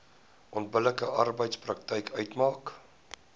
onbillike arbeidspraktyk uitmaak